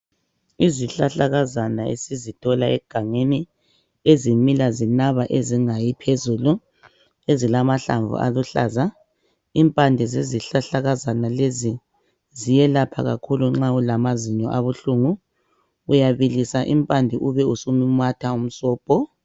Izihlahlakazana isizithola egangeni ezimila zinaba ezingayi phezulu ezilamahlamvu aluhlaza. Impande sezihlahlakazana lezi ziyelapha kakhulu nxa ulamazinyo akuhlungu, uyabilima impande ube usumumatha umsobho.